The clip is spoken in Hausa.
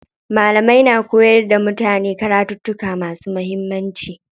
Malamai na koyar da mutane karattuka masu muhimmanci.